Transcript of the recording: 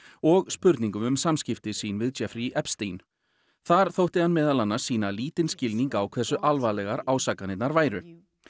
og spurningum um samskipti sín við Jeffrey Epstein þar þótti hann meðal annars sýna lítinn skilning á hversu alvarlega ásakanirnar væru